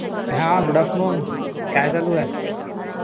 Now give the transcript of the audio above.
हां Good afternoon. हां, काय चालू आहे